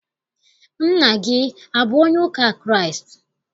Nna gị abụ onye ụka Kraịst?